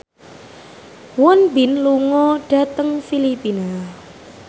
Won Bin lunga dhateng Filipina